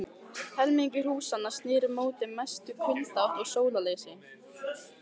Helmingur húsanna sneri móti mestu kuldaátt og sólarleysi.